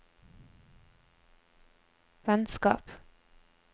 vennskap